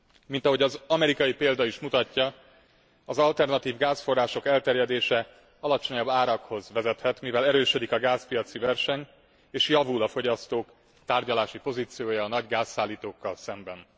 Mint ahogy az amerikai példa is mutatja, az alternatív gázforrások elterjedése alacsonyabb árakhoz vezethet, mivel erősödik a gázpiaci verseny és javul a fogyasztók tárgyalási pozíciója a nagy gázszállítókkal szemben.